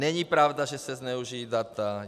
Není pravda, že se zneužijí data.